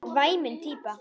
Væmin típa.